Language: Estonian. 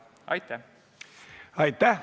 Aitäh!